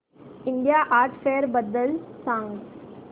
India art fair बद्दल सांग